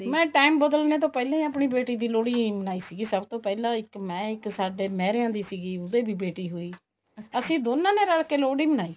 ਮੈਂ time ਬਦਲਨੇ ਤੋਂ ਪਹਿਲਾਂ ਹੀ ਆਪਣੀ ਕੁੜੀ ਦੀ ਲੋਹੜੀ ਮਨਾਈ ਸੀਗੀ ਸਭ ਤੋਂ ਪਹਿਲਾਂ ਇੱਕ ਮੈਂ ਇੱਕ ਸਾਡੇ ਮਹਿਰੇਆਂ ਦੀ ਸੀਗੀ ਉਹਦੇ ਵੀ ਬੇਟੀ ਹੋਈ ਅਸੀਂ ਦੋਨਾ ਨੇ ਰਲ ਕੇ ਲੋਹੜੀ ਮਨਾਈ